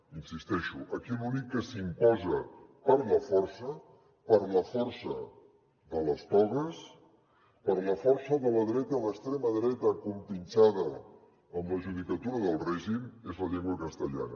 hi insisteixo aquí l’únic que s’imposa per la força per la força de les togues per la força de la dreta i l’extrema dreta compinxada amb la judicatura del règim és la llengua castellana